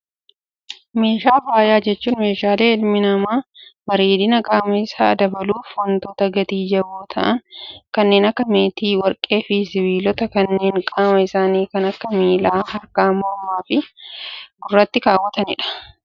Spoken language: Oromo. Meeshaalee faayaa jechuun, meeshaalee ilmi namaa bareedina qaama isaa dabaluuf waantota gati jaboo ta'an kanneen akka meetii, warqee fi sibiilota kanneen qaama isaanii kan akka miilaa, harkaa, mormaa fi gurratti keewwatanidha.